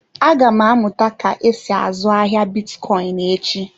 Aga m amụta ka esi azụ ahịa bitcoin echi.